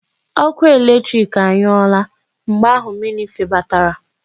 Ọkụ latrik anyụọla mgbe ahụ mmiri febatara.